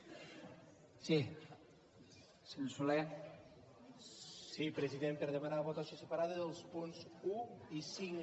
sí president per demanar votació separada dels punts un i cinc